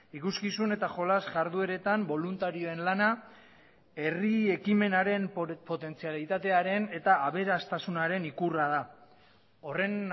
ikuskizun eta jolas jardueretan boluntarioen lana herri ekimenaren potentzialitatearen eta aberastasunaren ikurra da horren